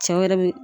Cɛw yɛrɛ bi